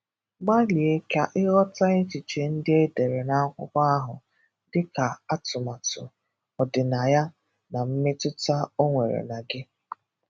Gbalia ka ịghọta echiche ndị e dere na akwụkwọ ahụ, dịka atụmatu, ọdịnaya, na mmetụta ọ nwere na gị.